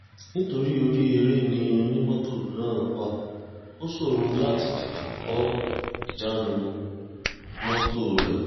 nítorí orí eré ni onímọ́tò náà wà ó ṣòro láti tètè kọ ìjánu mọ́tò rẹ̀